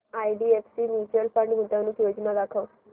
IDFC mutual fund गुंतवणूक योजना दाखव